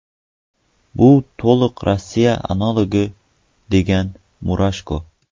Bu to‘liq Rossiya analogi”, degan Murashko.